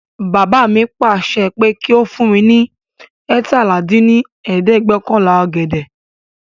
Bàbá mi paá láṣẹ pé kí ó fún mi ní eétalá dín ní ẹ̀ẹ́dẹ́gbẹ́ọ̀kànlá ọ̀gẹ̀dẹ̀